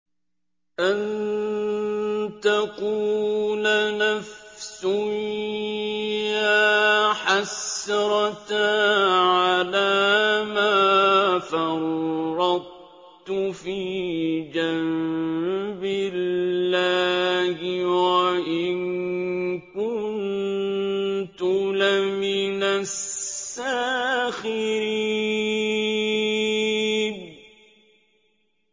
أَن تَقُولَ نَفْسٌ يَا حَسْرَتَا عَلَىٰ مَا فَرَّطتُ فِي جَنبِ اللَّهِ وَإِن كُنتُ لَمِنَ السَّاخِرِينَ